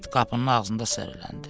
İt qapının ağzında səriləndi.